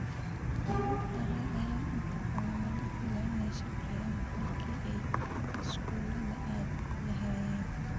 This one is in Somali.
Caruurta rer ayaa inta badan laga filayaa inay shaqeeyaan halkii ay iskuulada aadi lahaayeen.